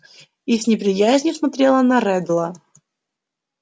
и с неприязнью смотрела на реддла